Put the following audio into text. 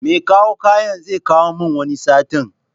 Mekawo kayan zekawo min wata satin